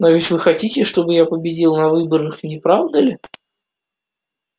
но ведь вы хотите чтобы я победил на выборах не правда ли